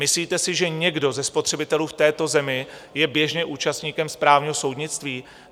Myslíte si, že někdo ze spotřebitelů v této zemi je běžně účastníkem správního soudnictví?